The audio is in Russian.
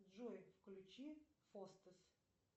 джой включи фостес